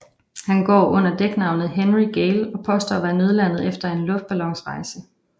Han går under dæknavnet Henry Gale og påstår at være nødlandet efter en luftballonsrejse